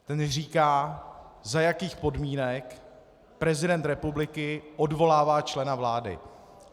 Ten říká, za jakých podmínek prezident republiky odvolává člena vlády.